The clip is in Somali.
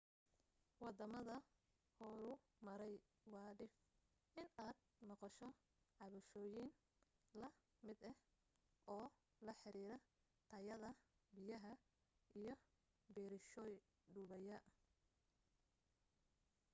waddamada horumaray waa dhif inaad maqasho cabashooyin la mid ah oo la xiriira tayada biyaha iyo biriishoy dumaya